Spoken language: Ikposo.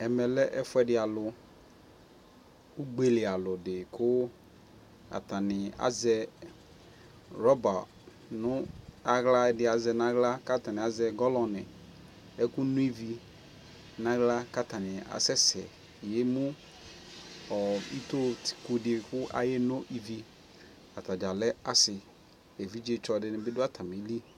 ɛmɛ lɛ ɛƒʋɛdi alʋ, ʋgbɛ li alʋ di kʋ atani azɛ rubber nʋ ala ɛdi azɛ nʋ ala kʋ atani azɛ gallon nʋ ɛkʋ nɔ ivi nʋ ala kʋ atani asɛsɛ yɛmʋ itɔɔ kʋdi kʋ kʋ ayɛ nɔ ivi, atagya lɛ asii, ɛvidzɛ tsɔ dibi dʋ atamili